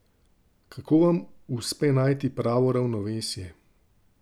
Kako vama uspe najti pravo ravnovesje?